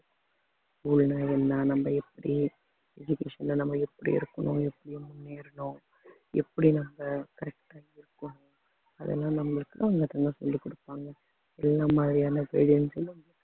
school ன்னா என்ன நம்ம எப்படி education நம்ம எப்படி இருக்கணும் எப்படி முன்னேறணும் எப்படி நம்ம correct ஆ இருக்கோம் அதெல்லாம் நம்மளுக்கு அவங்க என்ன சொல்லிக் கொடுப்பாங்க என்ன மாதிரியான கிடைக்கும்